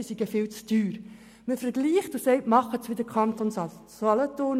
Man vergleicht und empfiehlt, es so zu handhaben wie der Kanton Solothurn.